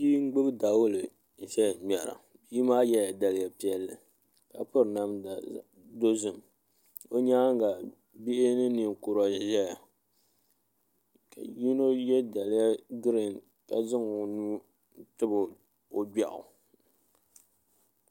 Bia n gbubi dawulɛ ʒɛya ŋmɛra bia maa yɛla daliya piɛlli ka piri namda dozim o nyaanga bihi ni ninkura n ʒɛya ka yino yɛ daliya giriin ka zaŋ o nuu tabi o gbiaɣu